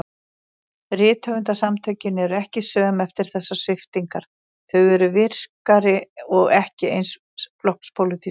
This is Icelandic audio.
Rithöfundasamtökin eru ekki söm eftir þessar sviptingar, þau eru virkari- og ekki eins flokkspólitísk.